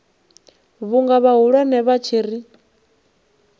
vhunga vhahulwane vha tshi ri